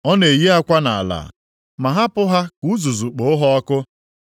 Ọ na-eyi akwa ya nʼala ma hapụ ha ka uzuzu kpoo ha ọkụ.